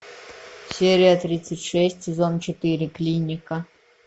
серия тридцать шесть сезон четыре клиника